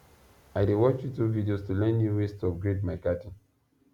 i dey watch youtube videos to learn new ways to upgrade my garden